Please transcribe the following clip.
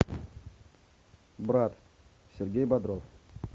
брат сергей бодров